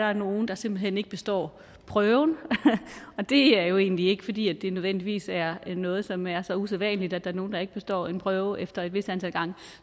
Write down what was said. er nogle der simpelt hen ikke består prøven og det er jo egentlig ikke fordi det nødvendigvis er noget som er så usædvanligt at der er nogen der ikke består en prøve efter et vist antal gange